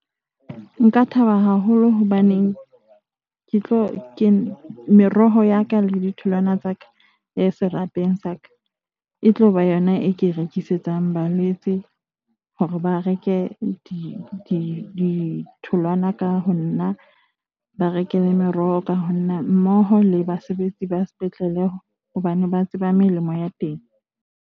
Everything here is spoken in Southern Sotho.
Nka thaba haholo hobaneng ke tlo meroho ya ka le ditholwana tsa ka serapeng sa ka e tloba yona e ke rekisetsa balwetse hore ba reke ditholwana ka ho nna, ba reke le meroho ka ho nna, mmoho le basebetsi ba sepetlele hobane ba tseba melemo ya teng.